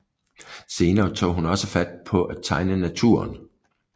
Senere tog hun også fat på at tegne naturen